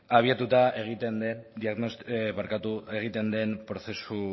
abiatuta egiten den